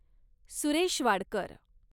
Suresh Wadkar